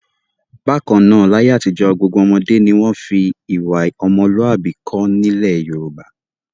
Bákan náà, láyé àtijọ́ gbogbo ọmọdé ni wọ́n fi ìwà ọmọlúàbí kọ́ nílẹ̀ Yorùbá.